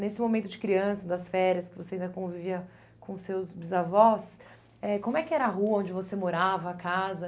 Nesse momento de criança, das férias, que você ainda convivia com seus bisavós, eh como é que era a rua onde você morava, a casa?